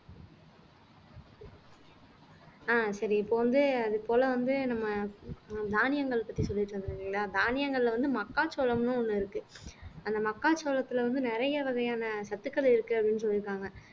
அஹ் சரி இப்ப வந்து அது போல வந்து நம்ம தானியங்கள் பத்தி சொல்லிட்டு இருந்தோம் இல்லைங்களா தானியங்கள்ல வந்து மக்காச்சோளம்ன்னு ஒண்ணு இருக்கு அந்த மக்காச்சோளத்துல வந்து நிறைய வகையான சத்துக்கள் இருக்கு அப்படின்னு சொல்லி இருக்காங்க